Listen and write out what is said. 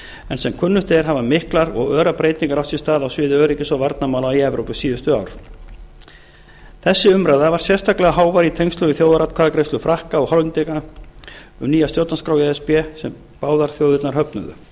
en sem kunnugt er hafa miklar og örar breytingar átt sér stað á svið öryggis og varnarmála í evrópu á síðustu ár þessi umræða var sérstaklega hávær í tengslum við þjóðaratkvæðagreiðslu frakka og hollendinga um nýja stjórnarskrá e s b sem báðar þjóðirnar